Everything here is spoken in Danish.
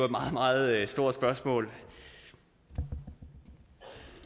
meget meget stort spørgsmål og